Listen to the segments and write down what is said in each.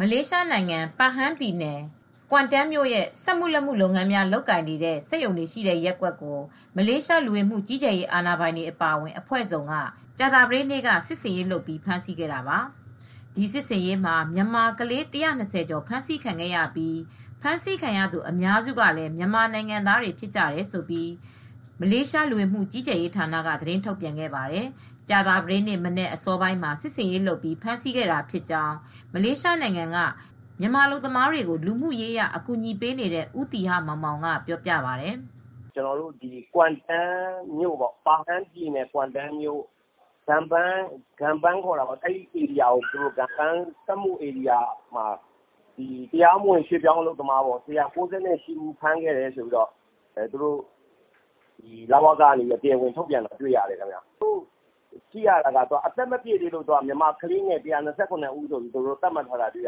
မလေးရှားနိုင်ငံ Pahang ပြည်နယ် Kuantanမြို့ စက်မူလက်မူ့ လုပ်ငန်းများ လုပ်ကိုင်နေတဲ့ စက်ရုံတွေရှိတဲ့ ရပ်ကွက်ကို မလေးရှား လူဝင်မူကြီးကြပ်ရေး အာဏာပိုင်တွေ အပါအဝင် အဖွဲ့စုံက ကြာသပတေးနေ့က စစ်ဆင်ရေးလုပ်ပြီး ဖမ်းဆီးခဲ့တာပါ။ ဒီစစ်ဆင်ရေးမှာ မြန်မာကလေး ၁၂၀ ကျော်ဖမ်းဆီးခံရပြီး ဖမ်းဆီးခံရသူ အများစုကလည်း မြန်မာနိုင်ငံသားတွေ ဖြစ်ကြတယ်လို့ မလေးရှား လူဝင်မူ့ကြီးကြပ်ရေးဌာနက သတင်းထုတ်ပြန်ခဲ့ပါတယ်။ ကြာသပတေးနေ့ မနက်အစောပိုင်းမှာ စစ်ဆင်ရေးလုပ်ပြီး ဖမ်းဆီးခဲ့တာဖြစ်ကြောင်း မလေးရှားနိုင်ငံက မြန်မာအလုပ်သမားတွေကို လူမှုရေးအရ ကူညီပေးနေတဲ့ ဦးသီဟမောင်မောင် က အခုလိုပြောပါတယ်။ " Pahang ပြည်နယ် Kuantanမြို့ ဒန်ပန်း စက်မူလက်မူ့ လုပ်ငန်းများ လုပ်ကိုင်နေတဲ့ ဧရိယာမှာပေါ့။ တရားမဝင်တွေ ၁၉၈ ယောက် ဖမ်းမိတယ်ဆိုပြီး မလေးရှား လဝက က သတင်းထုတ်ပြန်ထားပါတယ် ။ သိရတာက မြန်မာကလေးငယ် ၁၂၇ဦး ကို သတ်မှတ်ထားတယ်။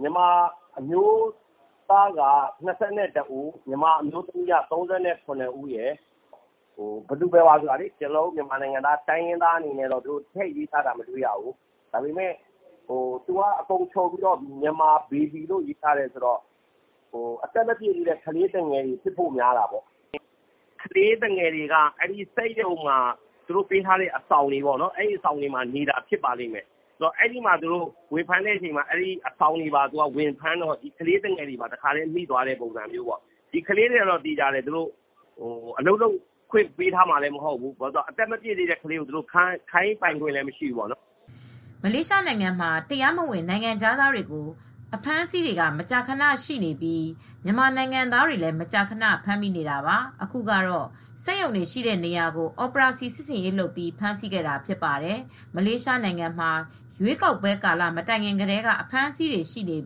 မြန်မာအမျိုးသားက ၂၁ဦး အမျိုးသမီး က ၃၇ဦးရယ် ဘယ်သူဘယ်ဝါ တိုင်းရင်းသားအနေနဲ့တော့ ထည့်မရေးထားဘူး။ သူတို့ကခြုံပြီး Myanmar Baby ၁၂၇ ဦးလို့ပဲ ရေးထားတယ် ။ အသက်မပြည့်သေးတဲ့ ကလေးတွေဖြစ်ဖို့များတယ် ။ ကလေးသူငယ်တွေက သူတို့ပေးထားတဲ့ အဆောင်တွေမှာ နေတာဖြစ်ပါလိမ့်မယ် ။ သူတို့က အဆောင်တွေကို ဝင်ဖမ်းတဲ့အခါမှာ ကလေးသူငယ်တွေ တခါတည်းပါမိတဲ့ သဘောပါ ။ ကလေးတွေကိုတော့ အလုပ်လုပ်ခွင့် လည်းပေးမှာမဟုတ်ဘူး ။ အသက်မပြည့်သေးတဲ့သူတွေကို အလုပ်ခိုင်းပိုင်ခွင့်လည်းမရှိပါဘူး" မလေးရှားနိုင်ငံမှာ တရားမဝင် နိုင်ငံခြားသားတွေကို အဖမ်းဆီးတွေက မကြာခနရှိနေပြီး မြန်မာနိုင်ငံသားတွေလည်း မကြာခန ဖမ်းမိနေတာပါ။ အခုကတော့ စက်ရုံတွေရှိတဲ့နေရာကို အော်ပရာစီ စစ်ဆင်ရေးလုပ်ပြီး ဖမ်းတာဖြစ်ပါတယ်။ မလေးရှားနိုင်ငံမှာ ရွေးကောက်ပွဲ ကာလမတိုင်ခင် ကတည်းက အဖမ်းဆီးတွေရှိနေ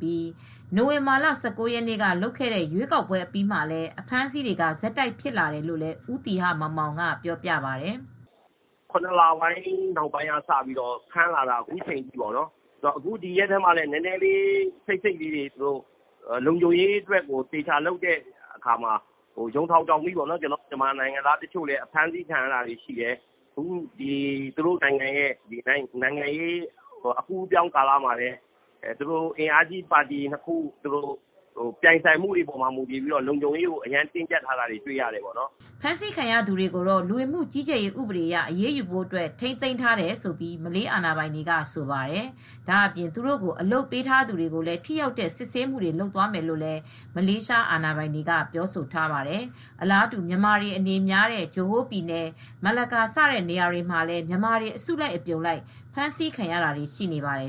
ပြီး နိုဝင်ဘာလ၁၉ရက်နေ့က လုပ်ခဲ့တဲ့ ရွေးကောက်ပွဲ အပြီးမှာလည်း အဖမ်းဆီးတွေက ဆက်တိုက်ဖြစ်လာတယ်လို့ လည်းဦးသီဟမောင်မောင် က ပြောပါတယ်။ " အခုကတော့ ၇ လပိုင်း နောက်ပိုင်းကစပြီး ဖမ်းလာလိုက်တာ အခုချိန်ထိပဲ အခုရက်ပိုင်းမှာလည်း ခပ်စိတ်စိတ်ဖမ်းတာက လုံခြုံရေး အတွက် လုပ်တော့ ယုံထောင်ကြောင်မိပေါ့နော်။ ကျနော်တို့ မြန်မာနိုင်ငံသားတွေ ဖမ်းခံရတာရှိတယ်။ သူတို့နိုင်ငံရေး အကူးအပြောင်းမှာလဲ နိုင်ငံရေးပါတီကြီ းနှစ်ခု အားပြိုင်မှုမှာလည်း လုံခြုံရေးကို ပိုပြီးတင်းကြပ်တဲ့သဘောတွေ့ရပါတယ်" ဖမ်းဆီးခံရသူတွေကိုတော့ လူဝင်မူ့ ကြီးကြပ်ရေး ဥပဒေအရ အရေးယူဖို့ အတွက် ထိမ်းသိမ်းထားတယ်လို့ဆိုပါတယ်။ ဒါအပြင် သူတို့ကို အလုပ်ပေးထားသူတွေကိုလည်း ထိရောက်တဲ့ စစ်ဆေးမူ့တွေလုပ်သွားမယ်လို့ မလေးရှား အာဏာပိုင်တွေက ပြောဆိုထားပါတယ်။ အလားတူ မြန်မာတွေအနေများတဲ့ ဂျိုဟိုးပြည်နယ် ၊မလက်ကာ စတဲ့နေရာတွေမှာလည်း မြန်မာတွေ အစုလိုက် အပြုံလိုက် ဖမ်းဆီးခံရတာတွေလည်း ရှိနေပါတယ်။